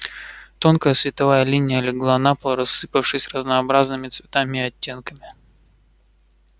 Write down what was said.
тонкая световая линия легла на пол рассыпавшись разнообразными цветами и оттенками